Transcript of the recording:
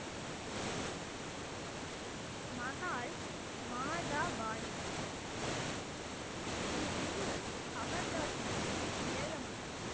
மஹால் மாதா பாணிஜி ஸ்ரீ குரு அமர்தாஸ்ஜியின் இளைய மகள்